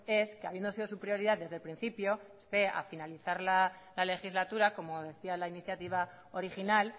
es que habiendo sido su prioridad desde el principio usted al finalizar la legislatura como decía la iniciativa original